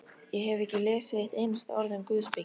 Ég hef ekki lesið eitt einasta orð um guðspeki.